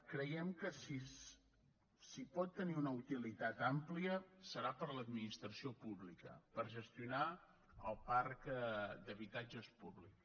creiem que si pot tenir una utilitat àmplia serà per l’administració pública per gestionar el parc d’habitatges públic